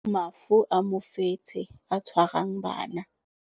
Mafu a mofetshe o tshwarang bana.